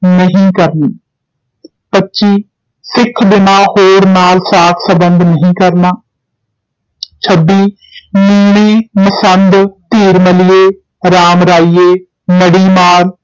ਨਹੀਂ ਕਰਨੀ ਪੱਚੀ ਸਿੱਖ ਬਿਨਾਂ ਹੋਰ ਨਾਲ ਸਾਕ ਸੰਬੰਧ ਨਹੀਂ ਕਰਨਾ ਛੱਬੀ ਮੀਣੇ, ਮਸੰਦ, ਧੀਰਮਲੀਏ, ਰਾਮਰਾਈਏ, ਨੜੀਮਾਰ